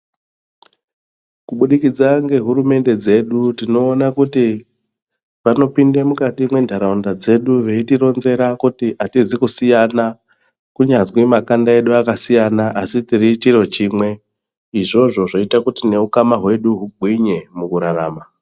Kubudikidza ngehurumende dzedu tinoona kuti vanopinde mukati mwentaraunda dzedu veitironzera kuti hatizi kusiyana kunyazwi makanda edu akasiyana asi tiri chiro chimwe, izvozvo zvoita kuti neukama hwedu hugwinye mukurarama.